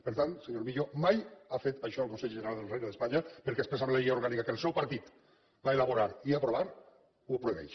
per tant senyor millo mai ha fet això el consell general del regne d’espanya perquè expressament la llei orgànica que el seu partit va elaborar i aprovar ho prohibeix